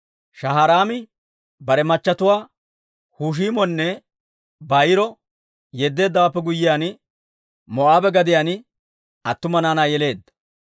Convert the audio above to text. Shaharaami bare machatuwaa Hushiimonne Baa'iro yeddeeddawaappe guyyiyaan, Moo'aabe gadiyaan attuma naanaa yeleedda.